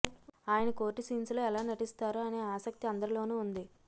ఆయన court scenes లో ఎలా నటిస్తారో అనే ఆసక్తి అందరిలోనూ ఉంది